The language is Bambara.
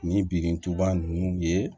Ni birintuba nunnu ye